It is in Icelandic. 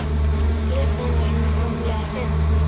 Klukkan var rúmlega fimm.